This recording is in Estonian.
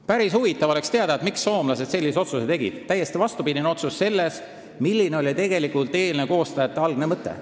Päris huvitav oleks teada, miks soomlased sellise otsuse tegid, sest see on täiesti vastupidine otsus sellele, milline oli eelnõu koostajate algne mõte.